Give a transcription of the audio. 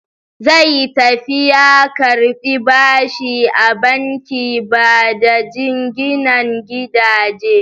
Zai tafi ya karɓi bashi a bankin bada jinginan gidaje.